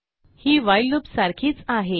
ही while loop सारखीच आहे